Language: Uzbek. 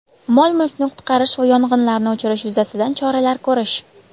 mol-mulkni qutqarish va yong‘inlarni o‘chirish yuzasidan choralar ko‘rish;.